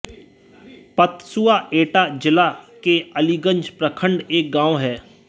पतसुआ एटा जिला के अलीगंज प्रखण्ड एक गाँव है